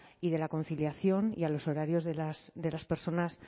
y de la conciliación y a los horarios de las personas